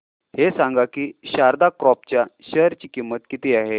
हे सांगा की शारदा क्रॉप च्या शेअर ची किंमत किती आहे